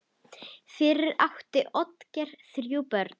Fyrir átti Oddgeir þrjú börn.